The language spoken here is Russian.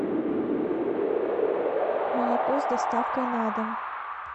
молоко с доставкой на дом